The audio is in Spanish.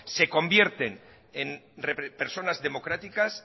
se convierten en personas democráticas